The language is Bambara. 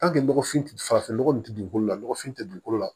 nɔgɔfin farafin nɔgɔ nin tɛ dugukolo la nɔgɔfin tɛ dugukolo la